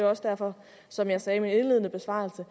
også derfor som jeg sagde i min indledende besvarelse